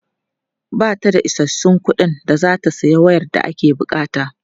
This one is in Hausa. Ba ta da isassun kuɗin da za ta sayi wayar da ake buƙata.